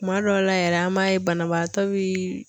Kuma dɔw la yɛrɛ an b'a ye banabagatɔ bi.